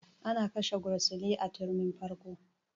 An kashe gursili a turmin farko